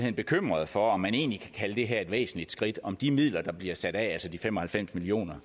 er bekymret for om man egentlig kan kalde det her et væsentligt skridt om de midler der bliver sat af altså de fem og halvfems million